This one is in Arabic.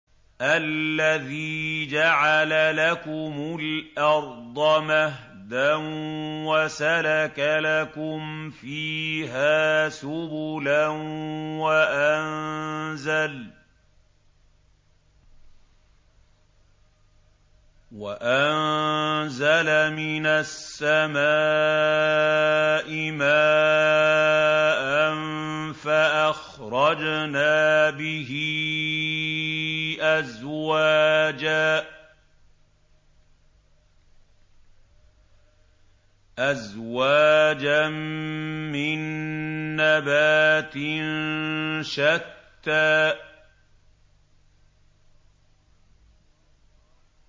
الَّذِي جَعَلَ لَكُمُ الْأَرْضَ مَهْدًا وَسَلَكَ لَكُمْ فِيهَا سُبُلًا وَأَنزَلَ مِنَ السَّمَاءِ مَاءً فَأَخْرَجْنَا بِهِ أَزْوَاجًا مِّن نَّبَاتٍ شَتَّىٰ